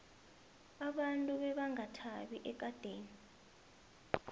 abantu bebangakathabi ekadeni